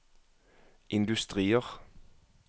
industrier